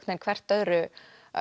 veginn hvert öðru